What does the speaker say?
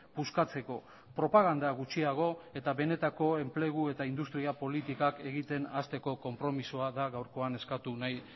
puskatzeko propaganda gutxiago eta benetako enplegu eta industria politikak egiten hasteko konpromisoa da gaurkoan eskatu nahi